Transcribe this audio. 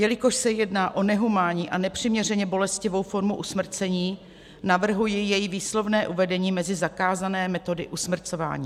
Jelikož se jedná o nehumánní a nepřiměřeně bolestivou formu usmrcení, navrhuji její výslovné uvedení mezi zakázané metody usmrcování.